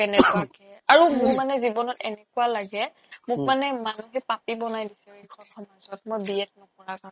কেনেকুৱাকে আৰু মোৰ মানে জীৱনত এনেকুৱা লাগে মোক মানে মোক মানে মানুহ পাপী বনাই দিছে এইখন সমাজত মই B.ED নকৰা কাৰণে